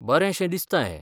बरेंशें दिसता हें.